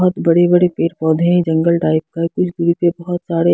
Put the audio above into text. बहुत बड़े-बड़े पेड़ पौधे हैं जंगल टाइप का कुछ दूरी पर बहुत सारे--